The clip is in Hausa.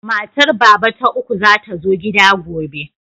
Matar Baba ta uku za ta zo gida gobe.